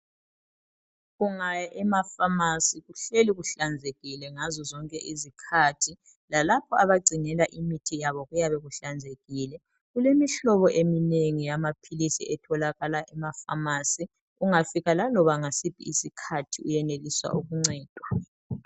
Ungaya emafamasi kuhleli kuhlanzekile ngazo zonke izikhathi lalapho abagcinela khona imithi yabo kuyabe kuhlanzekile. Kulemihlobo eminengi eyamaphilisi etholakala emafamasi ungafika laloba yisiphi isikhathi uyenelisa ukuncedwa.